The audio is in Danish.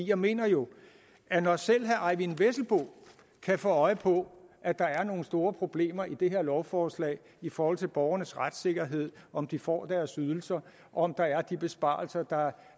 jeg mener jo at når selv herre eyvind vesselbo kan få øje på at der er nogle store problemer i det her lovforslag i forhold til borgernes retssikkerhed om de får deres ydelser og om der er de besparelser der